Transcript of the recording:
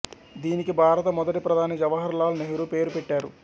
దీనికి భారత మొదటి ప్రధాని జవహర్ లాల్ నెహ్రూ పేరు పెట్టారు